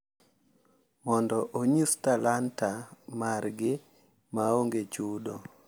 Mondo onyis talanta margi ma onge chudo.